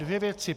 Dvě věci.